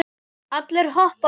Allir hoppa af kæti.